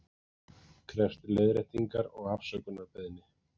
Krefst leiðréttingar og afsökunarbeiðni